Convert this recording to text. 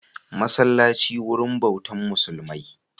Masallaci wurin bautan musulmai